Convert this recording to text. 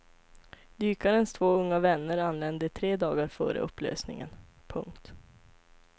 Dykarens två unga vänner anlände tre dagar före upplösningen. punkt